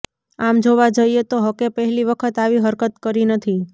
આમ જોવા જઈએ તો હકે પહેલી વખત આવી હરકત કરી નથી